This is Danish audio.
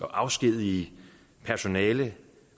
afskedige personale